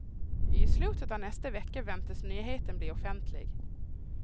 I slutet av nästa vecka väntas nyheten bli offentlig.